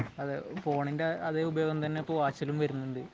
അതെയതെ. ഫോണിന്റെ അതേ ഉപയോഗം തന്നെ ഇപ്പോൾ വാച്ചിലും വരുന്നുണ്ട്.